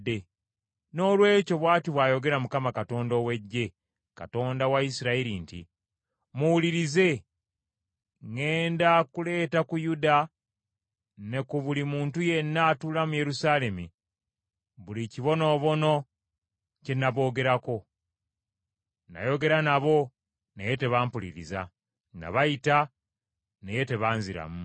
“Noolwekyo, bw’ati bw’ayogera Mukama Katonda ow’Eggye, Katonda wa Isirayiri nti, ‘Muwulirize, ŋŋenda kuleeta ku Yuda ne ku buli muntu yenna atuula mu Yerusaalemi buli kibonoobono kye naboogerako. Nayogera nabo, naye tebampuliriza; nabayita, naye tebanziramu.’ ”